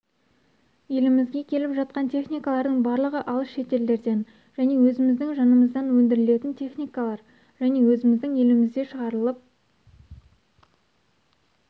елімізге келіп жатқан техникалардың барлығы алыс шетелдерден және өзіміздің жанымыздан өндірілетін техникалар және өзіміздің елімізде шығарылып